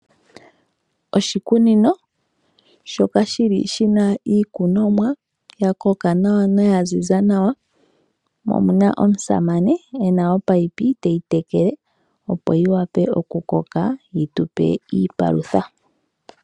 Oshikunino shoka shili shina iikunomwa ya koka nawa noya ziza nawa mo omuna omusamane ena ominino teyi tekele opo yi wape oku koka yitupe iipalutha.